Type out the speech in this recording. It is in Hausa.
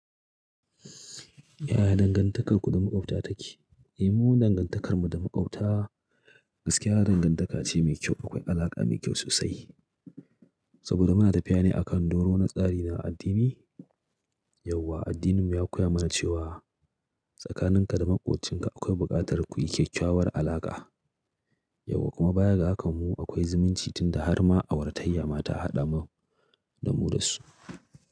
Yaya dangantakarku da maƙwabta take? Eh, mu dangantakarmu da maƙwabta gaskiya dangantaka ce mai kyau. Akwai alaƙa mai kyau sosai saboda muna tafiya ne akan doro na tsari na addini. Yauwa addininmu ya koya mana cewa tsakaninka da maƙwabcinka akwai buƙatar ku yi kyakkyawar alaƙa. Yauwa kuma baya ga haka mu akwai zumunci tunda har ma awara taiya ma ta haɗa mu da mu dasu.